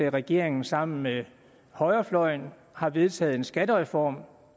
regeringen sammen med højrefløjen har vedtaget en skattereform